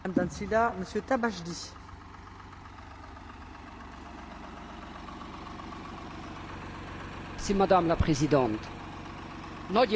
Nagy értetlenséget váltott ki, Dalli biztos úr, Magyarországon a tojótyúkok ketreces tartására vonatkozó új szabályozás.